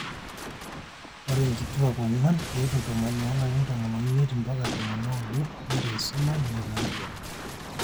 ore inkutuaak ong'wan tiatwa tomon oolarin tomon oimiet mbaka tomon ooudo neitu eisuma netaa intuaan